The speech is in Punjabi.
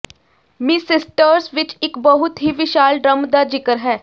ਮਿਸਿਸਟਰਸ ਵਿਚ ਇਕ ਬਹੁਤ ਹੀ ਵਿਸ਼ਾਲ ਡ੍ਰਮ ਦਾ ਜ਼ਿਕਰ ਹੈ